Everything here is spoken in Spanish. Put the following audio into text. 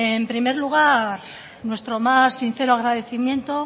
bueno en primer lugar nuestro más sincero agradecimiento